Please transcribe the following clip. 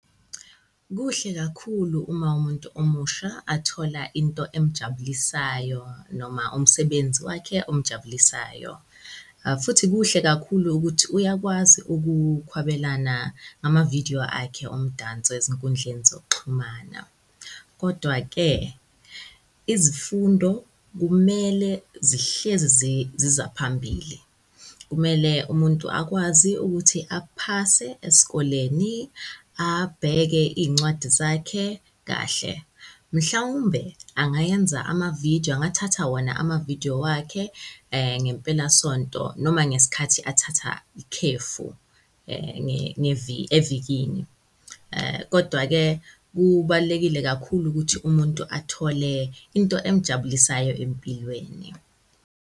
Kuhle kakhulu uma umuntu omusha athola into emjabulisayo noma umsebenzi wakhe omujabulisayo. Futhi kuhle kakhulu ukuthi uyakwazi ukukhwabelana ngamavidiyo akhe omdanso ezinkundleni zokuxhumana. Kodwa-ke izifundo kumele zihlezi zizaphambili. Kumele umuntu akwazi ukuthi aphase esikoleni abheke iy'ncwadi zakhe kahle. Mhlawumbe angayenza amavidiyo angathatha wona amavidiyo wakhe ngempelasonto noma ngesikhathi athatha ikhefu evikini. Kodwa-ke kubalulekile kakhulu ukuthi umuntu athole into emujabulisayo empilweni.